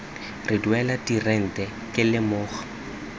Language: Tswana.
re duela dirente ke lemoga